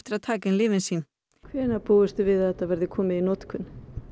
að taka inn lyfin sín hvenær búist þið við að þetta verði komið í notkun